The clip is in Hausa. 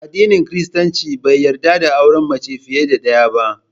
Addinin Kiristanci bai yarda da auren mace fiye da ɗaya ba